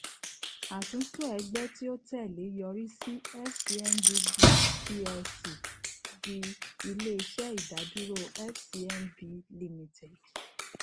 atunto ẹgbẹ ti o tẹle yorisi fcmb group plc di ileiṣẹ idaduro fcmb limited